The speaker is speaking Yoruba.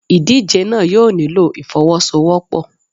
Ìdíje náà yóò nílò ìfọ́wọ́sọwọ́pọ̀.